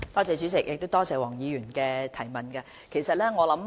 主席，多謝黃議員的補充質詢。